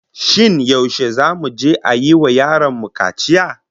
Shin yaushe zamu je a yi wa yaron mu kaciya?